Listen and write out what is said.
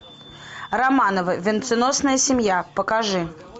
романовы венценосная семья покажи